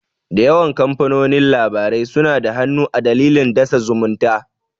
Da yawan kamfanonin labarai suna da hannu a dandalin dasa zumunta.